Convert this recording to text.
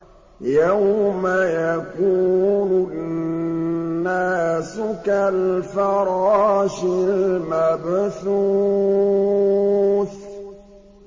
يَوْمَ يَكُونُ النَّاسُ كَالْفَرَاشِ الْمَبْثُوثِ